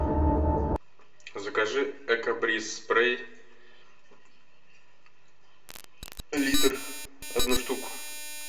закажи эко бриз спрей литр одну штуку